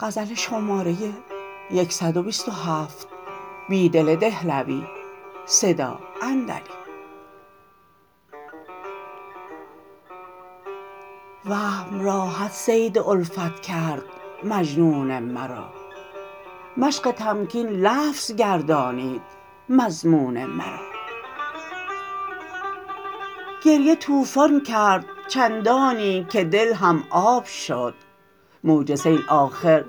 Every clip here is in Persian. وهم راحت صید الفت کرد مجنون مرا مشق تمکین لفظ گردانید مضمون مرا گریه توفان کرد چندانی که دل هم آب شد موج سیل آخر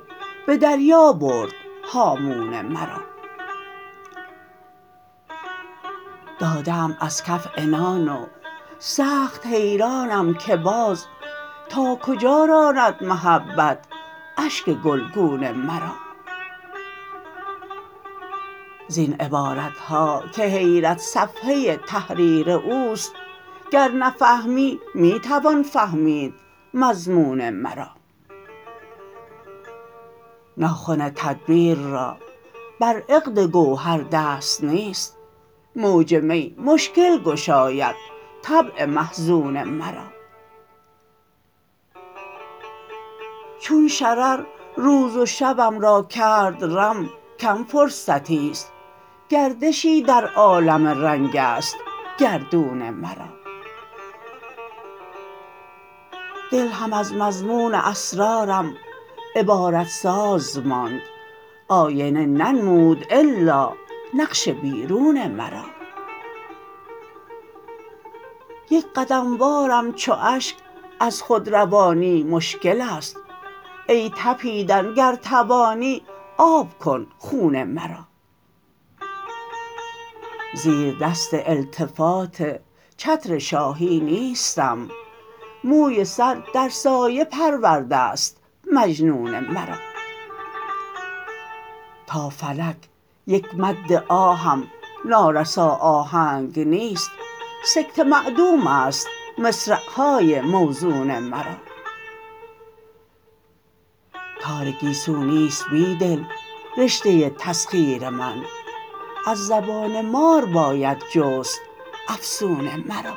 به دریا برد هامون مرا داده ام ازکف عنان و سخت حیرانم که باز ناکجا راند محبت اشک گلگون مرا زین عبارتهاکه حیرت صفحه تحریر اوست گر نفهمی می توان فهمید مضمون مرا ناخن تدبیر را بر عقدگوهر دست نیست موج می مشکل گشاید طبع محزون مرا چون شرر روزو شبم کرد رم کم فرضیی است گردشی در عالم رنگ است گردون مرا دل هم از مضمون اسرارم عبارت ساز ماند آینه ننمود الا نقش بیرون مرا یکقدم وارم چواشک ازخودروانی مشکل است ای تپیدن گر توانی آب کن خون مرا زیردست التفات چتر شاهی نیستم موی سر در سایه پرورده است مجنون مرا تا فلک یک مد آهم نارسا آهنگ نیست سکته معدوم است مصرعهای موزون مرا تارگیسو نیست بیدل رشته تسخیر من از زبان مار باید جست فسون مرا